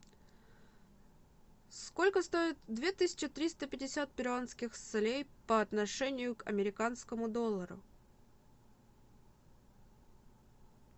сколько стоит две тысячи триста пятьдесят перуанских солей по отношению к американскому доллару